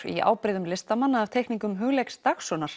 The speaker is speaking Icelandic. í ábreiðum listamanna af teikningum Hugleiks